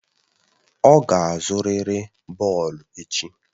Ọ ga-azụrịrị bọọlụ echi!